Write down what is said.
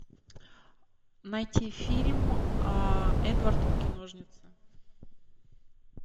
найти фильм эдвард руки ножницы